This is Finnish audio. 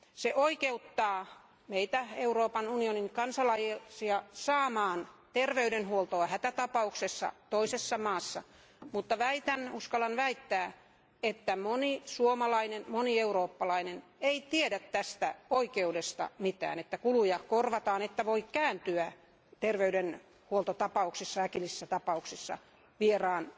Se oikeuttaa meitä Euroopan unionin kansalaisia saamaan terveydenhuoltoa hätätapauksessa toisessa maassa, mutta väitän, uskallan väittää, että moni suomalainen, moni eurooppalainen ei tiedä tästä oikeudesta mitään että kuluja korvataan, että voi kääntyä terveydenhuoltotapauksissa, äkillisissä tapauksissa, vieraan